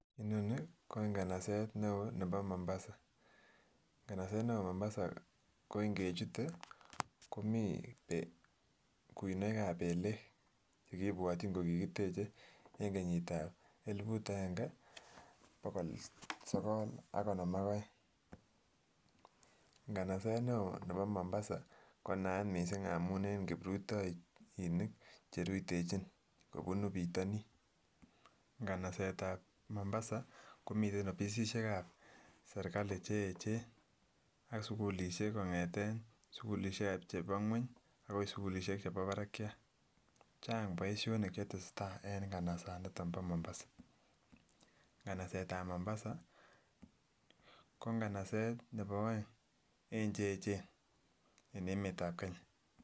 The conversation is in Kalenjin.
Inoni ko inganaset neo nebo mombasa, inganaset nebo mombasa ko ingechut komii kunoik ab belek ko kibwotyin ko kikiteche en kenyit ab elibut agenge bokol sokol ak konom ak oeng. Nganaset neo nebo mombasa ko naat missing amun en kiprutoinik cherutechin kobunu pitonin, nganaset ab mombasa komiten offisisiek ab serikali cheyechen ak sukulishek kongeten sukulidhek chebo ngueny akoi sukulishek chebo barakiat, chang boishonik chetesetai en nganasan niton bo mombasa. Nganaset ab mombasa ko nganaset nebo oeng en che yechen en emet ab kenya.